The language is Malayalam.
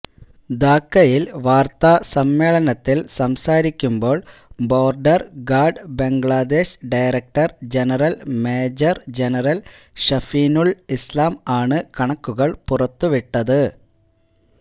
ധാക്കയിൽ വാർത്താസമ്മേളനത്തിൽ സംസാരിക്കുമ്പോൾ border guard Bangladesh director general major general Shafinul Islam ആണ് കണക്കുകൾ പുറത്തുവിട്ടത്